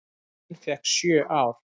Hin fékk sjö ár.